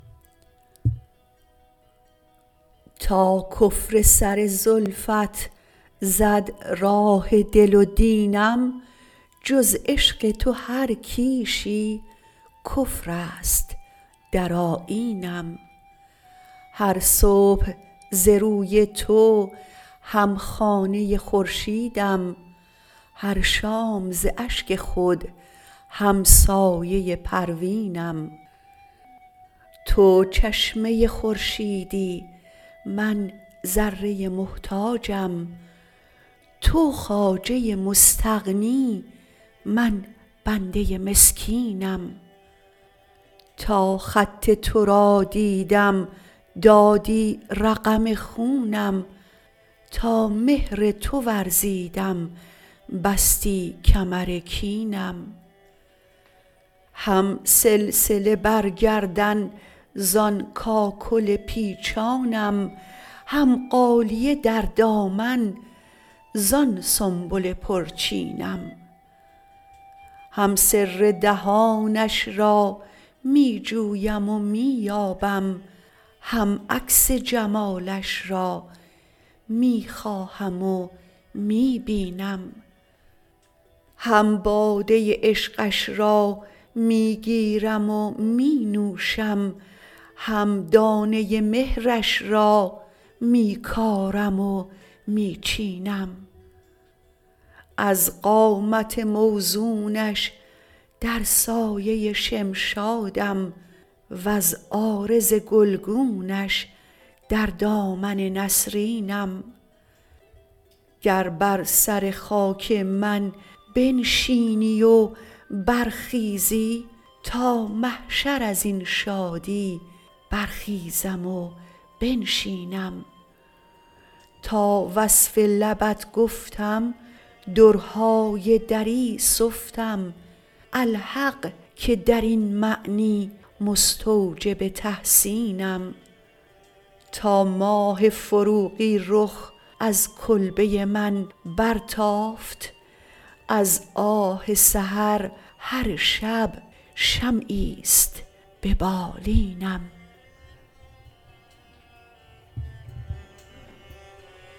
تا کفر سر زلفت زد راه دل و دینم جز عشق تو هر کیشی کفر است در آیینم هر صبح ز روی تو هم خانه خورشیدم هر شام ز اشک خود همسایه پروینم تو چشمه خورشیدی من ذره محتاجم تو خواجه مستغنی من بنده مسکینم تا خط تو را دیدم دادی رقم خونم تا مهر تو ورزیدم بستی کمر کینم هم سلسله بر گردن زان کاکل پیچانم هم غالیه در دامن زان سنبل پرچینم هم سر دهانش را می جویم و می یابم هم عکس جمالش را می خواهم و می بینم هم باده عشقش را می گیرم و می نوشم هم دانه مهرش را می کارم و می چینم از قامت موزونش در سایه شمشادم وز عارض گلگونش در دامن نسرینم گر بر سر خاک من بنشینی و برخیزی تا محشر از این شادی برخیزم و بنشینم تا وصف لبت گفتم درهای دری سفتم الحق که در این معنی مستوجب تحسینم تا ماه فروغی رخ از کلبه من برتافت از آه سحر هر شب شمعی است به بالینم